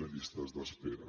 de llistes d’espera